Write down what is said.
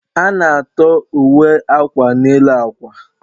A na-atọ uwe akwa n'elu akwa